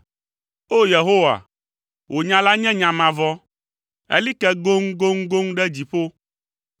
O! Yehowa, wò nya la nye nya mavɔ, eli ke goŋgoŋgoŋ ɖe dziƒo.